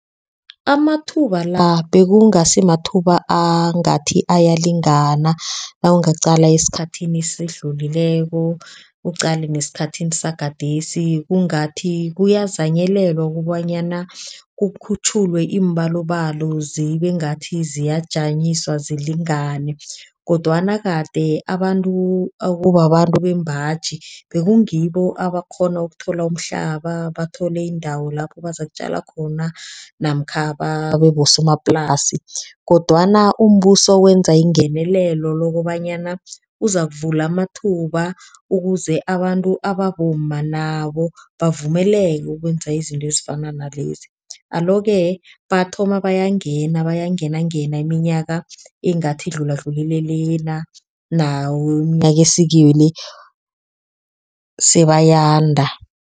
Amathuba la bekungasi mathuba angathi ayalingana, nawungaqala esikhathini esidlulileko, uqale nesikhathini sagadesi kungathi kuyazanyelelwa okobanyana kukhutjhulwe iimbalobalo zibe ngathi ziyajanyiswa zilingane kodwana kade abantu ekubabantu beembaji bekungibo abakghona ukuthola umhlaba. Bathole iindawo lapho bazokutjala khona namkha babebosomaplasi kodwana umbuso wenza ingenelelo lokobanyana uzokuvula amathuba. Ukuze abantu ababomma nabo bavumeleke ukwenza izinto ezifana nalezi. Alo-ke bathoma bayangena bayangena ngeminyaka engathi idlula dlulile lena nawo umnyaka esikiwo lo sebayanda.